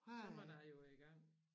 Så måtte jeg jo i gang